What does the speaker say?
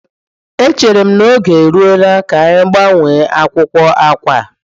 Echere m na oge eruola ka anyị gbanwee akwụkwọ akwa a.